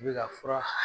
I bɛ ka fura